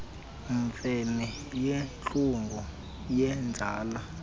mfene yintlungu yenzala